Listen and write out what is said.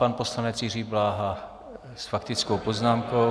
Pan poslanec Jiří Bláha s faktickou poznámkou.